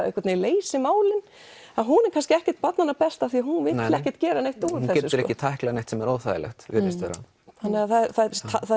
einhvern veginn leysir málin hún er kannski ekkert barnanna best því hún vill ekki gera neitt úr þessu hún getur ekki tæklað neitt sem er óþægilegt virðist vera þannig að það